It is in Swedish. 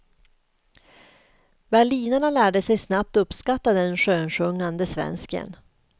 Berlinarna lärde sig snabbt uppskatta den skönsjungande svensken.